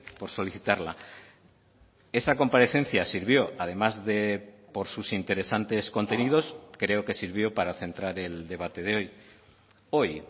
por solicitarla esa comparecencia sirvió además de por sus interesantes contenidos creo que sirvió para centrar el debate de hoy hoy